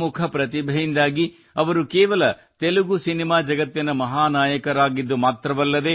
ತಮ್ಮ ಬಹುಮುಖ ಪ್ರತಿಭೆಯಿಂದಾಗಿ ಅವರು ಕೇವಲ ತೆಲುಗು ಸಿನಿಮಾ ಜಗತ್ತಿನ ಮಹಾನಾಯಕರಾಗಿದ್ದು ಮಾತ್ರವಲ್ಲದೇ